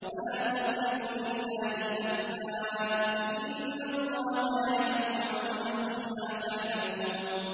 فَلَا تَضْرِبُوا لِلَّهِ الْأَمْثَالَ ۚ إِنَّ اللَّهَ يَعْلَمُ وَأَنتُمْ لَا تَعْلَمُونَ